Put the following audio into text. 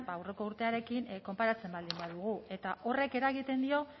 aurreko urtearekin konparatzen baldin badugu eta horrek eragiten dio